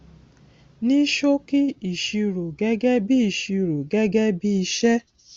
ní ṣòkì ìṣirò gégé bí ìṣirò gégé bí iṣé